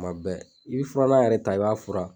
Tuma bɛɛ i be furanna yɛrɛ ta i b'a furan